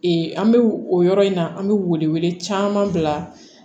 an bɛ o yɔrɔ in na an bɛ wele wele caman bila